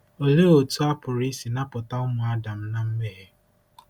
Olee otú a pụrụ isi napụta ụmụ Adam ná mmehie?